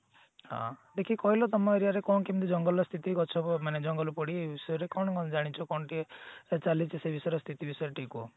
ହଁ ଦେଖି କହିଲ ତମ aria ରେ କଣ କେମତି ଜଙ୍ଗଲ ର ସ୍ଥିତି ଗଛ ମାନେ ଜଙ୍ଗଲ ପୋଡି କଣ ଜାଣିଛ କଣ ଟିକେ ସେ ବିଷୟରେ ସ୍ଥିତି ବିଷୟରେ ଟିକେ କୁହ